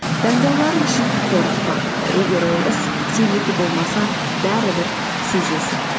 таңдауларың үшін қорықпа егер ол іс сенікі болмаса бәрібір сезесің